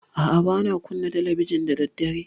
A'a, ba na kunna talabijin da daddare.